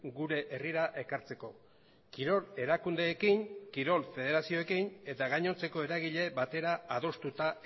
gure herrira ekartzeko kirol erakundeekin kirol federazioekin eta gainontzeko eragile batera adostuta